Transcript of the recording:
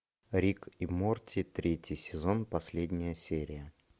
рик и морти третий сезон последняя серия